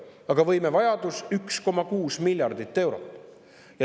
Aga võimete jaoks on vaja 1,6 miljardit eurot.